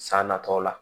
San natɔw la